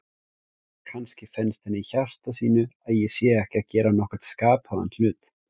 Kannski finnst henni í hjarta sínu að ég sé ekki að gera nokkurn skapaðan hlut.